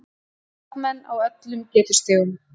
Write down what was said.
Skákmenn á öllum getustigum